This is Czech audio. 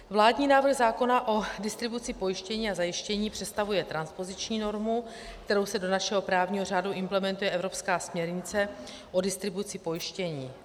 Vládní návrh zákona o distribuci pojištění a zajištění představuje transpoziční normu, kterou se do našeho právního řádu implementuje evropská směrnice o distribuci pojištění.